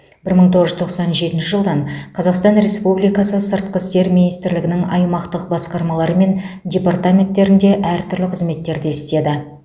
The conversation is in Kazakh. бір мың тоғыз жүз тоқсан жетінші жылдан қазақстан республикасы сыртқы істер министрлігінің аймақтық басқармалары мен департаменттерінде әртүрлі қызметтерде істеді